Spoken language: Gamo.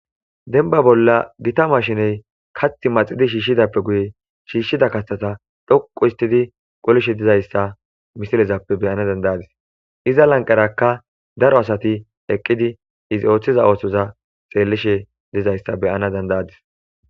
denba bolla gita mashiney kath maxidi shiishshidappe guye shiishshida kathata dhoqu histidi qolishe dizayssa misilezappe beyana dandayadis iza lanqarakka daro asati eqqidi izi ooththiza oosoza xeellishe dizayssa beyana dandayadis.